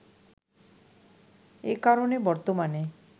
একারণে বর্তমানে